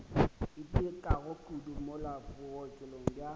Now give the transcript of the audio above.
itekago kudu mola bookelong bja